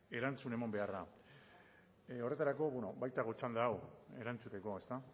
erantzun eman beharra horretarako baitago txanda hau erantzuteko ezta